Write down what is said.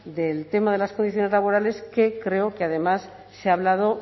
del tema de las condiciones laborales que creo que además se ha hablado